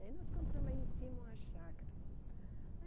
Aí nós compramos aí em cima uma chácara.